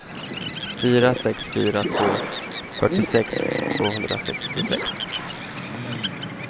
fyra sex fyra två fyrtiosex tvåhundrasextiosex